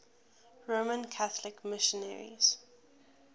roman catholic missionaries